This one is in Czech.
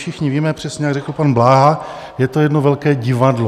Všichni víme, přesně jak řekl pan Bláha, je to jedno velké divadlo.